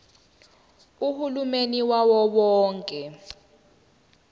uhulumeni wawo wonke